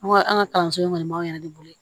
An ka an ka kalanso in kɔni b'an yɛrɛ de bolo